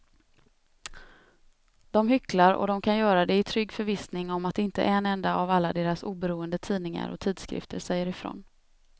De hycklar och de kan göra det i trygg förvissning om att inte en enda av alla deras oberoende tidningar och tidskrifter säger ifrån.